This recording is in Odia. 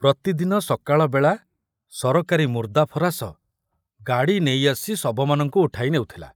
ପ୍ରତିଦିନ ସକାଳବେଳା ସରକାରୀ ମୁର୍ଦାଫରାଶ ଗାଡ଼ି ନେଇ ଆସି ଶବମାନଙ୍କୁ ଉଠାଇ ନେଉଥିଲା।